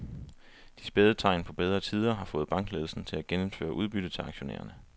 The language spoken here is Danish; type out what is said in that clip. De spæde tegn på bedre tider har fået bankledelsen til at genindføre udbytte til aktionærerne.